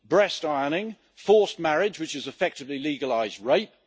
breast ironing forced marriage, which is effectively legalised rape